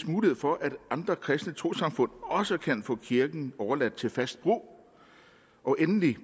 mulighed for at andre kristne trossamfund også kan få kirken overladt til fast brug og endelig